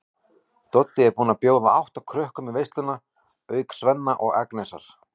Doddi er búinn að bjóða átta krökkum í veisluna auk Svenna og Agnesar.